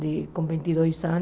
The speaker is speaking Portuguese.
e com vinte e dois anos